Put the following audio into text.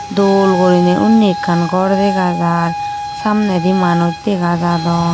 dol guriney undi ekkan ghor dega jar samnedi manuj dega jadon.